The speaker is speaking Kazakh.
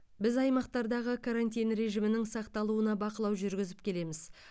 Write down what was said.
біз аймақтардағы карантин режимінің сақталуына бақылау жүргізіп келеміз